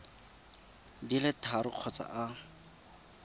di le tharo kgotsa a